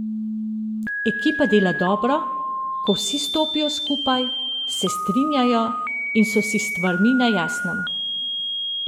Ekipa dela dobro, ko vsi stopijo skupaj, se strinjajo in so si s stvarmi na jasnem.